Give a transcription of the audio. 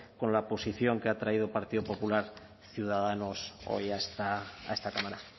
con la posición que ha traído el partido popular ciudadanos hoy a esta cámara